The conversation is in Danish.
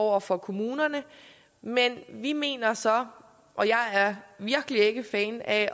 over for kommunerne men jeg mener så og jeg er virkelig ikke fan af